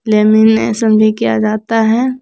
Lamination भी किया जाता है।